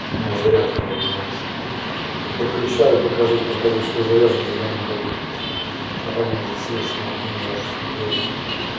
у меня зарядка наебнулась подключаю покажет показывает что заряжен зелёным горит а там уже севший нахуй не знаю что с ним делать блять